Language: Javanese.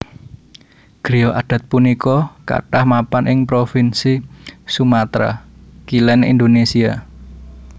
Griya adat punika kathah mapan ing provinsi Sumatra Kilèn Indonésia